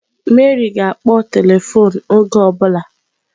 Mary ga-akpọ telifon oge ọ bụla.